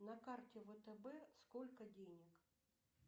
на карте втб сколько денег